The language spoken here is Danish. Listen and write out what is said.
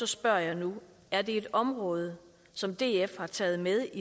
spørger jeg nu er det et område som df har taget med